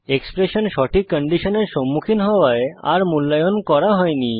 expression সঠিক কন্ডিশনের সম্মুখীন হওয়ায় আর মূল্যায়ন করা হয়নি